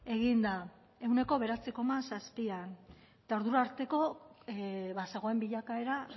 egin da ehuneko bederatzi koma zazpian eta ordura arteko bazegoen bilakaera